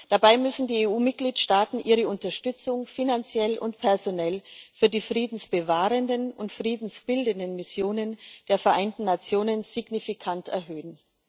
Dabei müssen die EU Mitgliedstaaten ihre Unterstützung finanziell und personell für die friedensbewahrenden und friedensbildenden Missionen der Vereinten Nationen signifikant erhöhen.